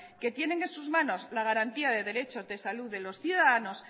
que tienen en sus manos la garantía de derechos de salud de los ciudadanos